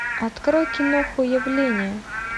открой киноху явление